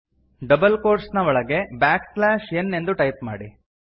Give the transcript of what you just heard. double quotes ನ ಒಳಗೆ backslash N ಎಂದು ಟೈಪ್ ಮಾಡಿ